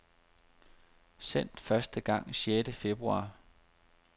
Sendt første gang sjette februar.